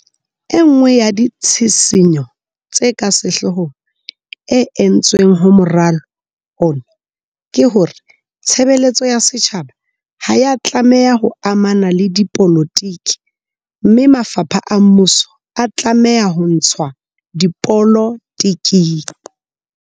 E nngwe ya ditshisinyo tse ka sehlohong e entsweng ho moralo ona ke hore tshebe letso ya setjhaba ha ya tla meha ho amana le dipolotiki mme mafapha a mmuso a tlameha ho ntshwa dipolotiking.